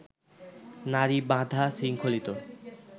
নারী বাঁধা, শৃঙ্খলিত